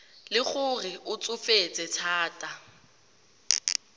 le gore o tsofetse thata